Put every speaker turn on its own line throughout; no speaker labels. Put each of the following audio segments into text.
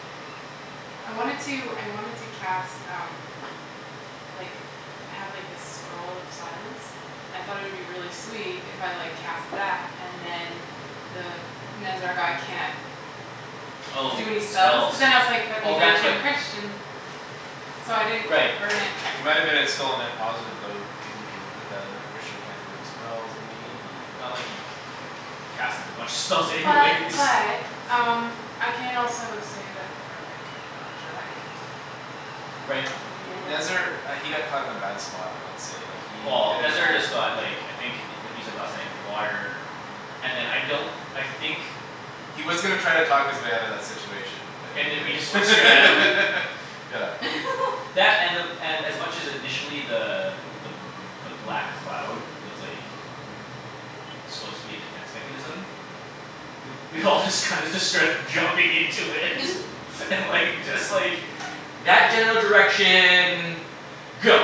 Yeah. I wanted to I wanted to cast um like I have like this scroll of silence I thought it would be really sweet if I like cast that and then The Nezzar guy can't
Oh
Do any spells.
spells.
But then I was like, "That
Oh
means that
that's what
can Christian" So I didn't
Right
burn it.
It might've been a still a net positive even if you did that like Christian can't do any spells maybe but
Not like he'd Cast a bunch of spells anyways
But but um I can also save it for like a dragon.
Right.
Nezzar
Yeah
uh he got caught in a bad spot I would say like he
Well
didn't
Nezzar
have
just got like I think what he said last night the water And then I don't I think
He was gonna try and talk his way outta that situation But he
And then we just went straight at him.
didn't Yeah
That and the and as much initially the the the black cloud was like Supposed to be a defense mechanism We we all just kinda just started jumping into it and like just like That general direction go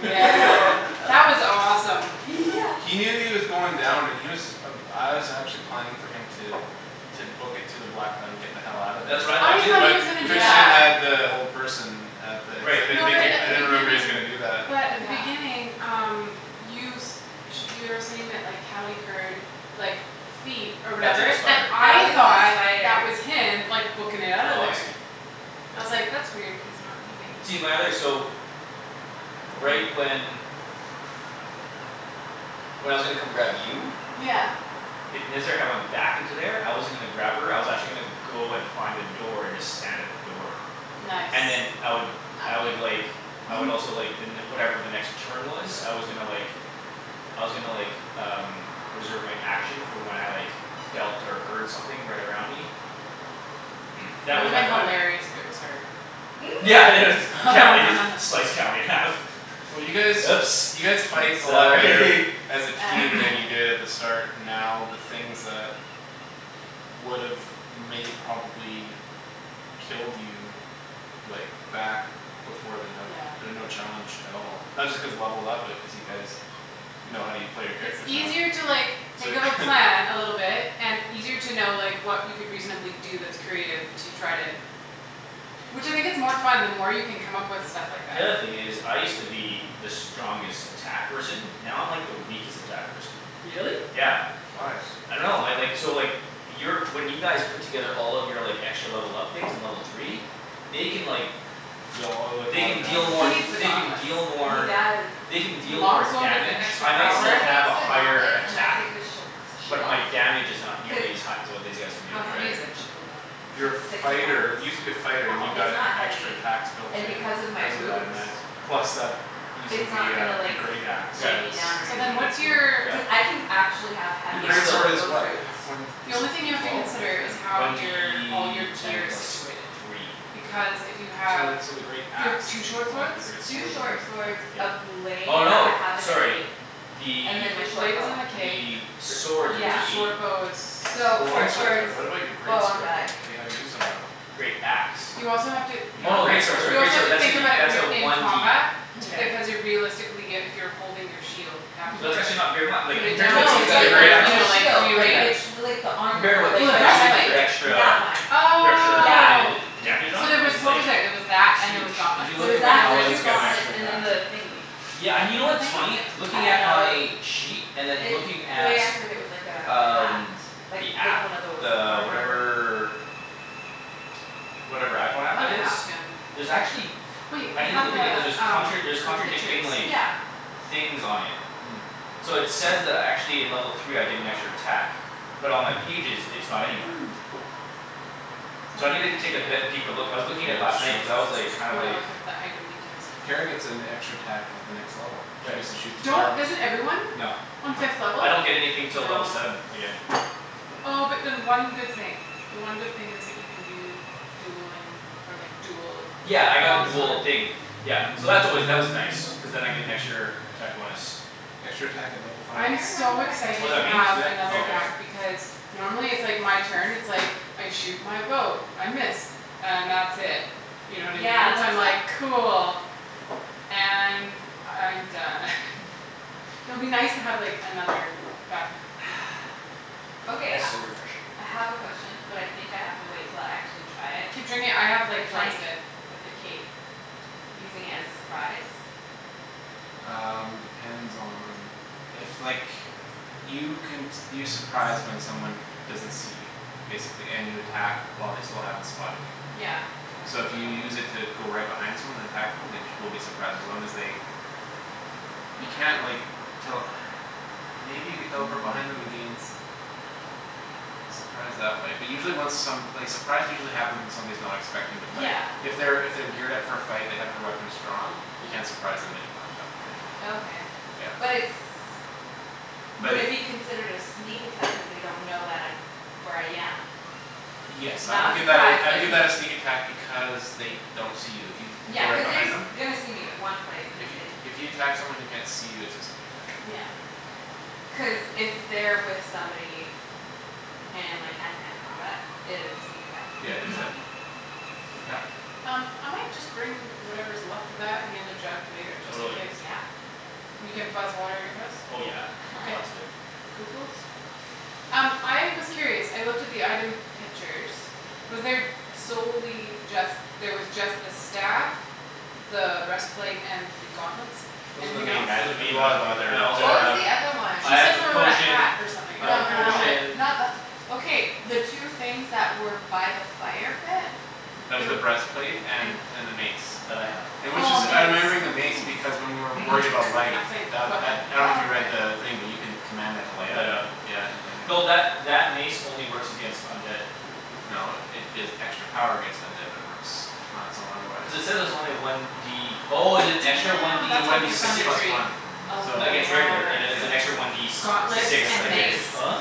that was awesome.
Yeah
He knew he was going down and he was Uh I was actually planning for him to To book it to the black and get the hell outta there
That's
Oh
what I thought
I
too
too.
thought he was gonna
But
do
Christian
Yeah
that.
had the whole person At the I
Right.
didn't
No but
think he
at
I
the
didn't he was
beginning
gonna do that.
but
But
at the
yeah
beginning um You s- sh- you were saying that like Cali heard like feet Or
That the
whatever, and
spider.
That
I
was a
thought
spider.
that was him like bookin' it outta
Oh I see.
there. I was
Yeah
like, "That's weird, he's not leaving."
See my other so Right when When I was gonna come grab you
Yeah
If Nezzar had went back into there I wasn't gonna grab her I was actually gonna Go and find a door and just stand at the door.
Nice
And then I would I
Knock
would like
me over.
I would also like the ne- whatever the next turn was
Yeah
I was gonna like I was gonnna like um Reserve my action for when I like felt or heard something right
Right
around me.
That
That was
would've
my plan.
hilarious if it was her.
Yeah it was Cali just slice Cali in half.
Well you
Oops
guys you guys fight a lot
sorry
better As a team than you did at the start And now the things that Would've may probably Killed you Like back before then have
Yeah.
been no challenge at all. Not just cause levelled up but cuz you guys Know how u- play your
It's
characters now
easier to like
So
think of a plan a little bit And easier to know like what you could reasonably do that's creative to try to Which I think it's more fun the more you can come up with stuff like
The
that.
other thing is I used to be the strongest attack person Now I'm like the weakest attack person.
Really?
Yeah.
Why?
I dunno my like so like Your when you guys Put together all of your like extra level up things in level three They can like
Deal all like a
They
lot of
can deal
He
more
needs
damage.
the
they can
gauntlets.
deal
He
more
does.
They can
With the
deal
long
more
sword with the
damage
extra
If
I
he
might
takes
power
the
still have a higher
gauntlets and I
attack
take the sh- the shield
But my damage is not nearly as
Cuz
hi- as what these guys can do.
How heavy is that
Right
shield though?
It's
Your
it's like two
fighter
pounds
you used to be a fighter and you
Oh
It's not
got extra
heavy.
attacks Built
And
in
because of my
because of that
boots
and that plus that Using
It's not
the
gonna
uh the
like
great axe Was
Yeah.
weigh me
was
down or
So
a
then
anything.
big
what's your
Yeah.
thing.
Cuz I can actually have
Your
heavy
But
great
armor
still
swords
with
is
those
what?
boots.
One
The
is
only
it
thing you
D
have to
twelve or D
consider is
ten?
how
One
your all your
D ten
gear is
plus
situated.
three.
Because if you
So
have
when so the great
you have
axe
two
is D
short
twelve but
swords
the great
Two
sword is only
short
D
swords,
ten
Yeah.
a blade
Oh
that
no,
I have in the
sorry.
cape
The
And then my
The
short
blade
bow.
is in the cape.
the
Gr-
swords are D
Yeah
The
eight.
short bow is
The
So
long
short
swords are,
swords,
but what about your
bow
great
on
sword
back.
though? That you haven't used in a while?
Great axe.
You also have to
You
yeah
have a
Oh
great
okay.
great sword sorry
sword.
You also
great
have
sword
to
that's a
think
D
about it when
that's a
you're in
one D
combat
ten.
Mhm.
Because you're realistically uh if you're holding your shield You have
Hmm
to
It's not
like
actually not very mu- like
put it
compared to
down
what
Well
No
to
the
these
use
it's
guys
g- the
the
are
like
great
doing
other or
now.
you
axe
a
know
is
like
shield like
Yeah.
rearrange.
it's
bigger.
The like the
Compared to
armor
what
Oh
these
like
the
the
guys are doing like
breastplate
they're
chestplate
extra
That one.
The extra
Yeah.
Oh
added
Yeah.
Damage on
So
it
there was
it's
what was
like
there? There was that and there was
Huge.
Did
gauntlets,
you
There
look
was
at when
and
that
there
the
was
paladins
two
get an
gauntlets
extra
and then
attack?
the thingy
Yeah
A
and you know
what
what's
thing?
funny?
I
Looking
don't
at
know
my Sheet and then looking
It the
at
way I heard it was like a hat.
Um
Like
the
like
app
one of those
the
armor
whatever Whatever iPhone
I
app
wanna
that is?
ask him
There's actually
Wait I
I needa
have
look at
the
it cuz there's
um
contra- there's
the pictures.
contradicting like
Yeah
Things on it.
Hmm
So it says that I actually in level three I get an extra attack. But on my pages it's not anywhere. So
No
I
no
needa
I
take
can't
be-
yeah.
deeper look. I was looking at it last night cuz I was like kind
I
of
wanna
like
look at the item details.
Kara gets an extra attack at the next level. She
Right.
gets to shoot two
Don't
arrows.
doesn't everyone?
No.
On fifth level?
I don't get anything till
No
level seven again.
Oh but then one good thing. The one good thing is that you can do dueling or like dual
Yeah I got the
long sword
dual thing Yeah so that's always that was nice. Cuz then I get an extra attack bonus.
Extra attack at level
I
five.
I'm
remember
so
what I get
Oh
excited
is
to
that me?
have
Yep
Oh
another
okay.
attack
For
because Normally it's like my turn it's like I shoot my bow, I miss. And that's it. You know what I
Yeah
mean? So I'm
that's what
like cool. And I'm done It'll be nice to have like another back up you know
Okay
That is
I
so refreshing.
I have a question but I think I have to wait until I actually try it
Keep drinking I have
Is
like
like
tons of it.
with the cape Using it as a surprise?
Um depends on if like You can s- you surprise when someone
Small
doesn't see you Basically, and you attack while they still haven't spotted you.
Yeah
So
Dragon
if you
guard
use it to go right behind someone and attack them they sh- will be surprised as long as they You can't like tell Maybe you could teleport behind them and gain s- Surprise that way but usually when some like surprise usually happens when someone's not expecting to fight.
Yeah
If they're if they're geared up for a fight they have their weapons drawn You can't surprise them anymore at that point.
Okay
Yeah
but it's
But
would
if
it be considered a sneak attack cuz they don't know that I'm where I am It's
Yes I
not
would
a
give that
surprise
a I would
but
give that a
a sneak
sneak attack because They don't see you if you
Yeah
go right
cuz they're
behind
s-
them.
gonna see me in one place and then they
If you if you attack someone who can't see you it's a sneak attack I
Yeah
think.
cuz if they're with somebody And like hand to hand combat it is a sneak attack
Yeah just
on
that
me. On my
Yep
Um I might just bring whatever's left of that and the other jug later, just in
Totally.
case.
Yeah
And you can buzz water at your house?
Oh yeah,
Okay.
lots of it.
Cool cool. Um I was curious, I looked at the item pictures Was there solely just there was just the staff The breastplate and the gauntlets?
Those are the
Anything else?
main magi-
Those
as
are main
we'll
magic
have other
I
there's
What
also
was
have
the
the
other one?
She
I have
said
the
something about a
potion
hat or something.
I
No
have a
A
no no
helmet
potion
not the okay the two things that were by the fire pit?
That was
There
the breastplate
and
and and the mace.
That I have.
And which
Oh a
is I'm
mace.
remembering the
What's
mace
a
because
mace?
when we were worried about light
A thing, a
The
weapon.
that I dunno if
Oh
you read
okay
the thing but you can Command that to light up
Light
and you
up.
c- yeah you turn it
Though that
on.
that mace only works against undead.
No it gives extra power against undead but it works on its own otherwise.
Cuz it says it's only one D Oh is it extra one
Damn
D
It's a
that's
one
worth
D
for
six?
six
Thunder
plus
Tree.
one.
Oh
So
Against regular and then there's an
yeah.
extra one
yes
D
And
s-
Gauntlets
sixty
six
and
percent
against
mace.
Oh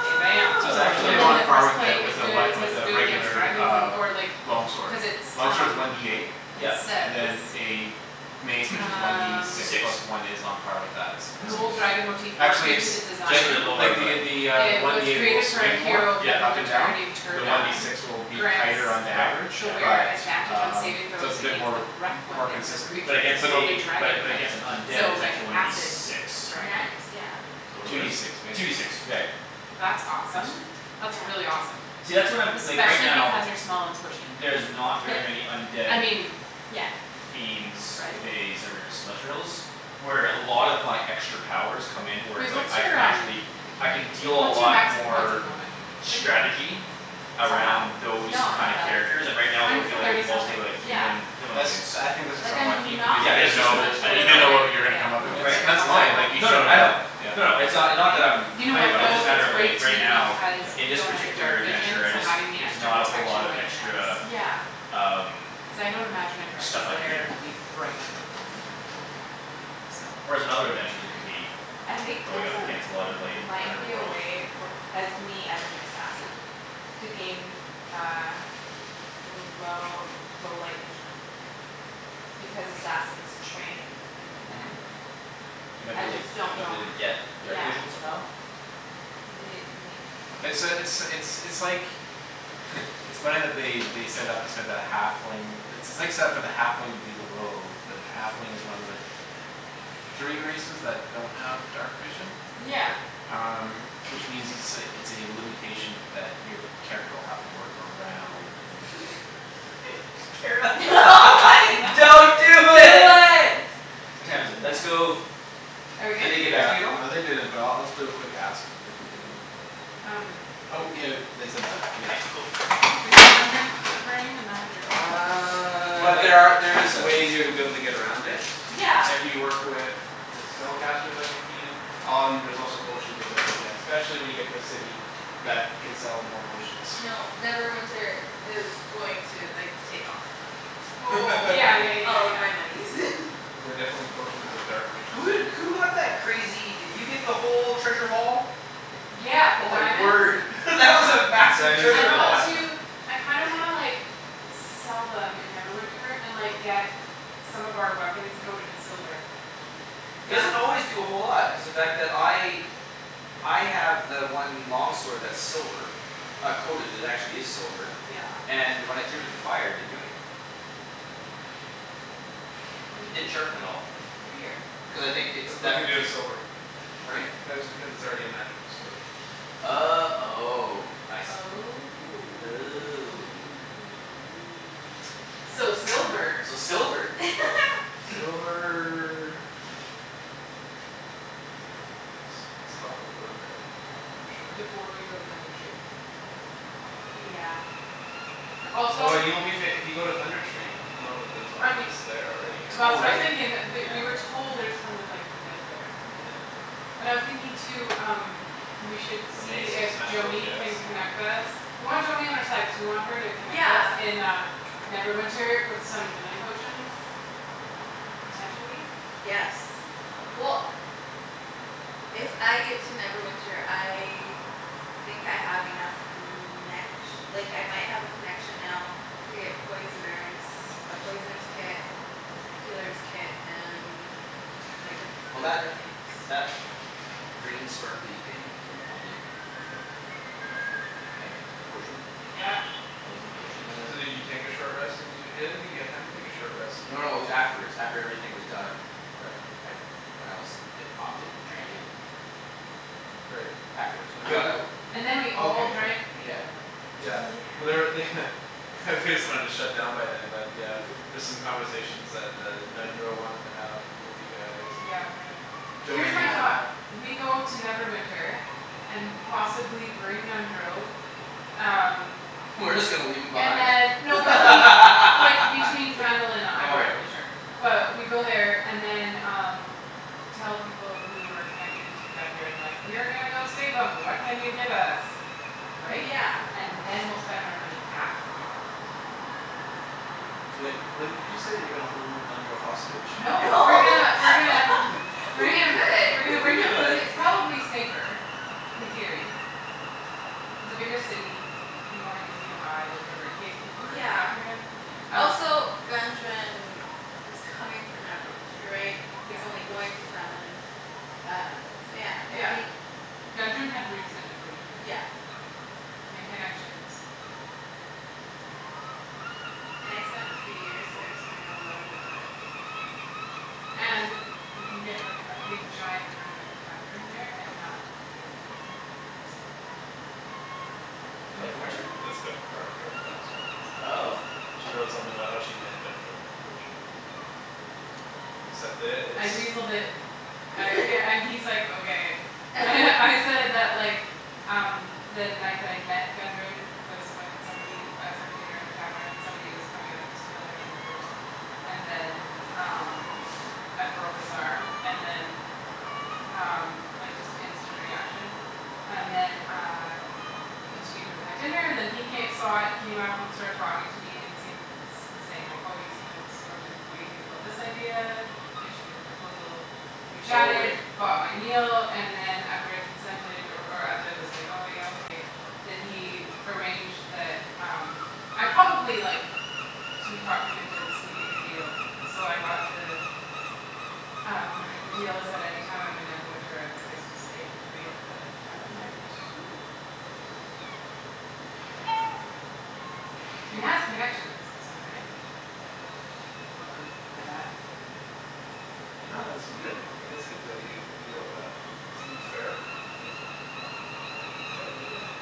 Bam bam
So it's actually
And then
on
the
part with
breastplace is
a
good, it
one
says
with a
good against
regular
dragons
uh
or like
Long
Cuz it's
sword. Long sword's
um
one D eight
It
Yep
and
says
then a Mace which is one D
Um
six
Six.
plus one is on par with that,
Gold
statistically.
Nice.
dragon motive
Actually it's
into the design.
Just a
t-
bit lower
like
but.
the The uh the
It
one
was
D eight will
created for a
swing more
hero of
Yep
up and
Neverwinter named
down The one D
yep
Tergon.
six will be
Grants
tighter on the average.
the
Yeah yeah.
wearer
But
Advantage on saving
um so
throws
it's a bit
against the
more
breath
More
Weapons of
consistent but
But
creatures
against
of the
a
the
dragon
but
type.
against an undead
So
it's
like
actually one D
acid
six.
dragons.
Nice yeah
So what
Two
are
D
these?
six
Two D six.
basically,
Right.
yeah.
That's
It's
Tense.
awesome. That's
Yeah
really awesome.
See that's what I'm like right
Especially
now
because you're small and squishy.
There's not very
Yep
many undead
I mean
yeah
fiends
right?
Faes or celestrials Where a lot of my extra powers come in where it's
Wait
like
what's
I can
your um
actually I can deal a
What's your
lot
max hit points at
more
the moment?
Thirty nine
Strategy
That's not
Around
bad
those
No it's
kind of
not bad
characters
it's
and right
I
now
mean
we're
Mine's still
it's
dealing with
thirty
not bad
something.
mostly
it's
like
okay yeah
Human
That's
humanoids.
I think that's just
Like I'm
unlucky because
not
you
Yeah
didn't
that's just
know
cuz it
much
I
lower
You
didn't
didn't
than
know
know what you were
everybody
gonna
else.
come up
It's just
Right
against.
like
And
a
that's
couple
fine
exactly.
like you
No no no
shouldn't
I know.
have. Yeah.
A
No
couple
no, it's
points.
uh not that I'm
You know
Complaining
what
about it,
though?
just a
It's
matter of like
great
right
too
now
because
Yeah.
In
you
this
don't have the
particular
dark vision,
adventure, I
so
just
having the
Is
extra
not a whole lot
protection
of
might be
extra
nice.
Yeah
Um
Cuz I don't imagine a dragon's
Stuff I can
lair to be
do
bright.
Mhm
So
Whereas in other adventures I could
Yeah
be
I think
going
there's
up
a
against a lot of like
might be a
underworld.
way for uh me as an assassin To gain uh L- low low light vision Because assassins train in the
Mhm
dark.
You might be
I
able to like
just don't
might
know
be able to
h-
get
yeah
dark vision somehow?
Ye- maybe I
It's uh it's
dunno
it's it's like It's funny that they they set it up this way but a halfling It's it's like set up for the halfling to be the rogue but the halfling is one of the Three races that don't have dark vision.
Yeah
Um which means it's a it's a limitation that your Character will have to work around and
Kara Don't do it. What time is it? Let's
Yes
Yes
go
Are we
Did
good?
they get back to you at
Yeah
all?
uh they didn't but I'll just do a quick ask. If we can move.
Um
Oh yeah they said that
Okay
yeah
cool
Bringing my drink. Bringing my drink.
Uh I'm
But
like
there are there is
passed out.
ways to be able to get around it.
Yeah
If you work with The spellcasters on your team Um there's also potions you'll be able to get Specially when you get to a city.
I
That can sell more potions.
I know Neverwinter is going to like take all my money.
Oh
Yeah yeah yeah yeah
All of
yeah.
my monies
Cuz there are definitely potions of dark vision
Who
so you
did who got that crazy did you get the whole treasure haul?
Yeah, the
Oh my
diamonds
word that was a massive
Diamonds
I
and
treasure
the
haul.
want to
platinum.
I kinda wanna like Sell them in Neverwinter and like get Some of our weapons coated in silver.
Yeah
Doesn't always do a whole lot because the fact that I I have the one long sword that's silver. Not coated, it actually is silver.
Yeah.
And when I threw it in the fire it didn't do anything. Didn't
Weird.
sharpen at all.
Weird.
Cuz I think it's
That's
deft
nothing
or
to do with silver.
Pardon me?
That is because it's already a magical sword.
Oh oh I see.
Oh
Oh
oh. So
Well then.
silver.
So silver.
Silver Does a couple things. It's helpful for undead for sure.
Before we go Thunder Tree.
Yeah
Also
Oh and you will be fa- if you go to Thunder Tree You know that there's
I mean
zombies there already or
Oh
That's what I was
right, yeah.
thinking that th- we were told there's tons of like undead there.
Undead?
And I was thinking too um We should
So the
see
mace will
if
smash those
Joany
guys.
can connect us
Yep.
We want Joany on our side cuz we want her to connect us
Yeah
in uh Neverwinter with some healing potions. Potentially.
Yes well If I get to Neverwinter I Think I have enough connec- Like I might have a connection now To get poisoner's A poisoner's kit
Well that
Healer's kit and like a few
that
other things.
green sparkly thing came in handy.
What green sparkly
Uh
thing?
potion.
Yeah
The poison potion
So
that I
so did you take a short rest and use your I didn't think you had time to take a short rest
No
when
no it was afterwards. After everything was done.
Yeah
I when I was I popped it and drank
Yep
it.
Right.
Afterwards when we got
But
out
And then we
did
all drank
okay yeah.
Yeah.
ale.
Yeah
Yeah
but there're they They just wanted to shut down by them but yeah There's some conversations that uh Nundro wanted to have with you guys and
Yeah we gotta here's
Joany
my
wanted to
thought.
have.
Yeah
We go to Neverwinter. And possibly bring Nundro Um
We're just gonna leave him
And
behind?
then no but he like between Phandalin and uh I'm
Oh
not
right.
really sure But we go
Yeah
there and then um Tell people who are connected to Gundren like, "We are gonna go save 'em, what can you give us?" Right?
Yeah
And then we'll spend our money after that.
So wait, what did you just say? You're gonna hold Nundro hostage?
No
No
we're gonna we're gonna Bring
We
him we're gonna
We
could
bring him cuz
could.
it's probably safer in theory It's a bigger city. It's ea- more easy to hide or whatever in case people are
Yeah
after him um
Also Gundren was coming from Neverwinter right? He
Yeah
was only going to Phandalin Um so yeah I
Yeah.
think
Gundren had roots in Neverwinter.
Yeah
And connections.
Mhm
And I spent a few years there so I know a little bit about it.
And
Nice
we can get like a big giant room at the tavern there and not pay to stay
It's
In
part of Kara's
Neverwinter?
it's cu-
there
part of Kara's back story is the
Oh
host She wrote something about how she met Gundren originally, and Accept it,
I
it's
weaseled it I yeah and he's like, "Okay." And I said that like Um the night that I met Gundren Was when somebody I was having dinner in the tavern, somebody was coming up to steal my coin purse. And then um I broke his arm and then Um like just instant reaction And then uh Continued with my dinner and then he ca- saw it came up started talking to me and seen Was saying like, "Oh you seem like the sort to what do you think about this idea?" Pitched me the proposal We
Oh
chatted,
right.
bought my meal, and then And after I consented or or as I was Like, "Oh yeah okay", then he Arranged the um I probably like Sweet talked him into sweetening the deal, so I got to Um the deal is that any time I'm in Neverwinter I have a place to stay for free at the
Oh
tavern there
nice.
Yeah So we
Cool
have connections of some kind. You're welcome for that.
No this is good. I think it's good that you you wrote that. It seemed fair, so. Yeah get it in.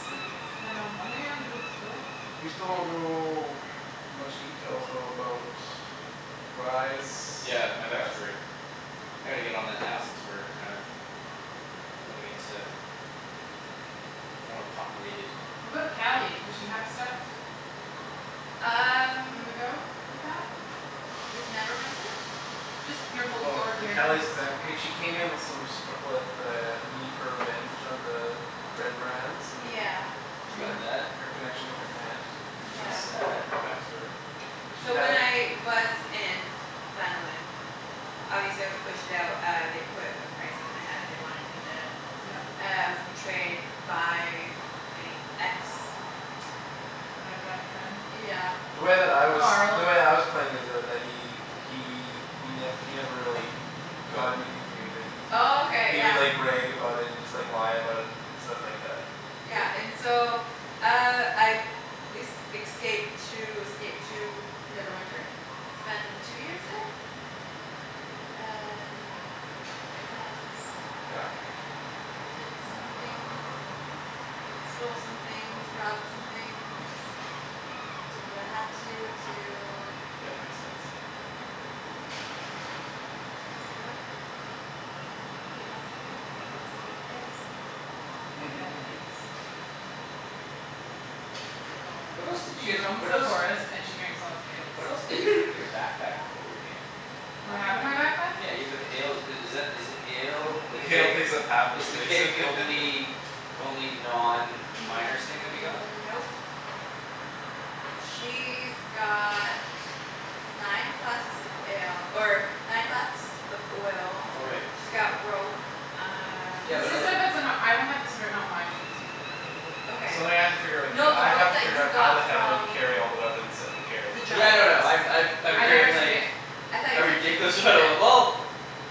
So we can spend our money on good stuff.
We still don't know much details though about Rye's
Yeah my
past.
backstory. I gotta get on that now since we're kind of Going into More populated.
What about Cali? Does she have stuff?
Um
On the go with that?
With Neverwinter?
Just your whole your
Well the
character's
Cali's back hey she came in with some stru- With a need for revenge on the Red Brands and
Yeah
She got that.
Her her connection with her aunt.
She
Is
got
Yeah
something
that.
from her back story. She
So when
had
I was in Phandalin Obviously I was pushed out uh they put a price on my head they wanted me dead.
Yep
Uh I was betrayed by my ex
Red Brand friend?
Yeah
The way that I was the
Carl
way I was playing is though that he he y- he never really Got anything from me but he he
Okay
He would
yeah
like brag about it and just lie about it and And stuff like that
Yeah
but
and so uh I Es- excaped to escaped to Neverwinter Spend two years there And kinda just
Yeah
Did some things and stole some things, robbed some things. Did what I had to to
Yeah makes sense.
Stay alive Eat lots of food drink lots of ales
Yeah, ales It's what Velana
What else
does.
did you
She
guys
roams
what
the
else
forest and she drinks lots of ales.
What else did you put in your backpack before we came?
What
A
do I have in my
lot
backpack?
Yeah you put the ale i- is that is it the ale The
The ale
keg
takes up half of the
is the
space
keg the only Only non miner's thing that we got?
Nope She's got nine flasks of ale or nine flasks of oil
Oh right.
She's got rope um
Yeah
Is
but
this
the
other
stuff that's in a I don't have this written on my sheet so you have to remember what you put
Okay
in.
Something I have to figure out with you.
No the
I have
rope
to
that
figure
you
out how the
got
hell you
from
carry all the weapons that you
the
carry. A
Yeah
giant
no no
limit.
I'm I've I'm
I never
carrying
remember?
took
like
it.
I thought
A
you took
ridiculous
fifty feet
amount
of
of w-
it?
well